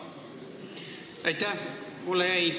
Aitäh!